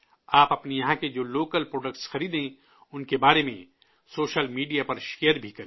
آپ اپنے یہاں کے جو لوکل پراڈکٹس خریدیں، ان کے بارے میں سوشل میڈیا پر شیئر بھی کریں